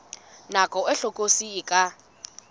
nako e hlokolosi e ka